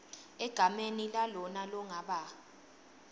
egameni lalona longaba